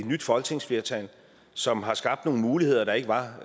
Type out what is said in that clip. nyt folketingsflertal som har skabt nogle muligheder der ikke var